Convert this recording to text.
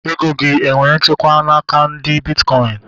Ego gị enwere nchekwa n'aka ndị bitkọin?